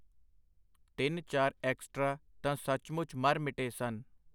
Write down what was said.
ਤਿੰਨ-ਚਾਰ ਐਕਸਟਰਾ ਤਾਂ ਸਚਮੁਚ ਮਰ ਮਿਟੇ ਸਨ.